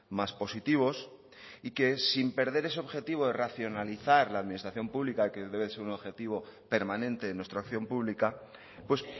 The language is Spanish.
más positivos y que sin perder ese objetivo de racionalizar la administración pública que debe ser un objetivo permanente en nuestra acción pública pues